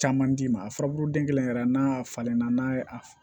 Caman d'i ma a furabulu den kelen yɛrɛ n'a falenna n'a ye a